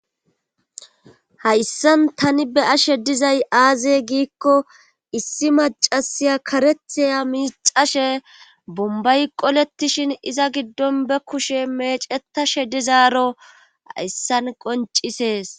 Hayssan tani be ashe dizay aaze giikko issi macasiya karethiya miixashe bombay qolettishin iza giddon be kushe mecetashe dizaaro hayssan qoncisees.